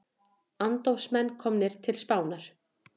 Andófsmenn komnir til Spánar